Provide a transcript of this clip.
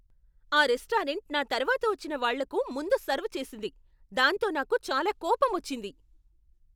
ఆ రెస్టారెంట్ నా తర్వాత వచ్చిన వాళ్ళకు ముందు సర్వ్ చేసింది, దాంతో నాకు చాలా కోపమొచ్చింది.